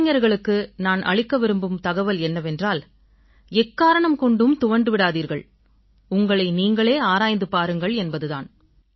இளைஞர்களுக்கு நான் அளிக்க விரும்பும் தகவல் என்னவென்றால் எக்காரணம் கொண்டும் துவண்டு விடாதீர்கள் உங்களை நீங்களே ஆராய்ந்து பாருங்கள் என்பது தான்